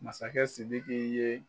Masakɛ sidiki ye